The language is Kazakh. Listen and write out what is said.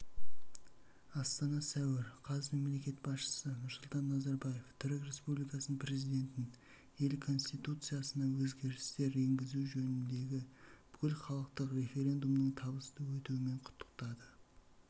астана сәуір қаз мемлекет басшысы нұрсұлтан назарбаев түрік республикасының президентін ел конституциясына өзгерістер енгізу жөніндегі бүкілхалықтық референдумның табысты өтуімен құттықтады